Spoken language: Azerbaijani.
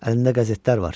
Əlində qəzetlər var.